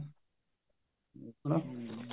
ਹਮ